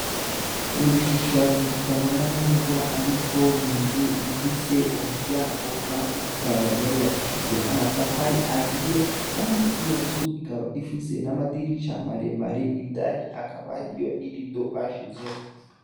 Nigishushanyo kitabona neza ariko ninzu ifise umuryango kandi ikaba yarubakishijwe namatafari ahiye kandi iyonzu ikaba ifise namadirisha maremare indani hakaba hariyo nirido bashizemwo